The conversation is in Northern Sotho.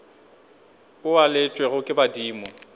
o a laetšwego ke badimo